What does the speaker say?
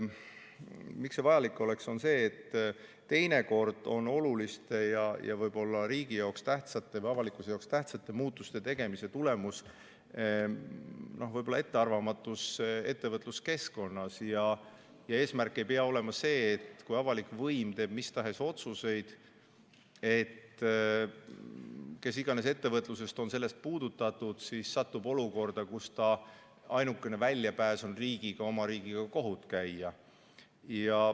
Miks see vajalik oleks, on see, et teinekord on oluliste ja võib-olla riigi jaoks tähtsate või avalikkuse jaoks tähtsate muutuste tegemise tulemus ettearvamatus ettevõtluskeskkonnas ja eesmärk ei pea olema see, et kui avalik võim teeb mis tahes otsuseid ja kes iganes ettevõtlusest on sellest puudutatud, siis ta satub olukorda, kus ta ainuke väljapääs on oma riigiga kohut käia.